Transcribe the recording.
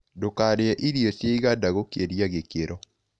Ndũkarĩe irio cia ĩgada gũkĩrĩa gĩkĩro